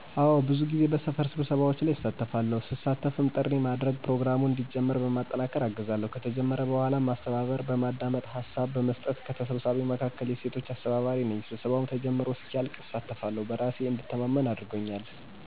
አወ ብዙ ጊዜ በሰፈር ስብሰባዎች ላይ እሳተፋለሁ, ስሳተፍም ጥሪ ማድረግ፣ ፕሮግራሙን እንዲጀመር በማጠናከር አግዛለሁ፣ ከተጀመረ በኋላ ማስተባበር፣ በማዳመጥ ሀሳብ በመስጠት፣ ከተሰብሳቢዉም መካከል የሴቶች አስተባባሪ ነኝ; ስብሰባዉ ተጀምሮ እስኪያልቅ እሳተፋለሁ በራሴ እንድተማመን አድርጎኛል።